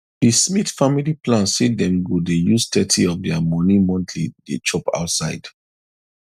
the smith family plan say dem go dey use thirty of their monthly money dey chop outside